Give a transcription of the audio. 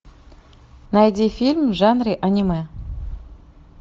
найди фильм в жанре аниме